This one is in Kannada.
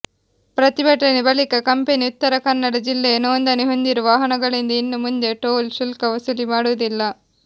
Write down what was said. ಪ್ರತಿಭನಟನೆ ಬಳಿಕ ಕಂಪನಿ ಉತ್ತರಕನ್ನಡ ಜಿಲ್ಲೆಯ ನೋಂದಣಿ ಹೊಂದಿರುವ ವಾಹನಗಳಿಂದ ಇನ್ನು ಮುಂದೆ ಟೋಲ್ ಶುಲ್ಕ ವಸೂಲಿ ಮಾಡುವುದಿಲ್ಲ